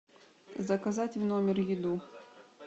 заказать в номер еду